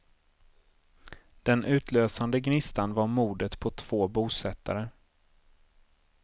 Den utlösande gnistan var mordet på två bosättare.